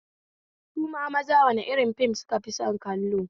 Su ma maza wani rin fim sukafi son kallo?